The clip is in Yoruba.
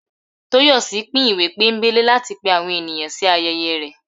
Toyòsí pín ìwé pónbelé latí pẹ àwọn enìyan sí ayẹyẹ rẹ